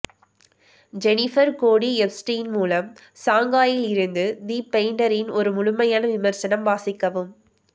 Jennifer Cody Epstein மூலம் ஷாங்காயில் இருந்து தி பெயிண்டரின் ஒரு முழுமையான விமர்சனம் வாசிக்கவும்